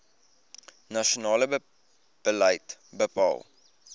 nasionale beleid bepaal